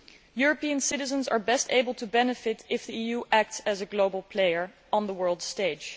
European citizens are best able to benefit if the EU acts as a global player on the world stage.